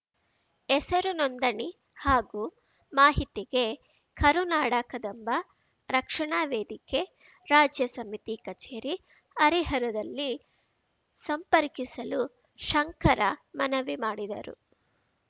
ಹೆಸರು ನೋಂದಣಿ ಹಾಗೂ ಮಾಹಿತಿಗೆ ಕರುನಾಡ ಕದಂಬ ರಕ್ಷಣಾ ವೇದಿಕೆ ರಾಜ್ಯ ಸಮಿತಿ ಕಚೇರಿ ಹರಿಹರದಲ್ಲಿ ಸಂಪರ್ಕಿಸಲು ಶಂಕರ ಮನವಿ ಮಾಡಿದರು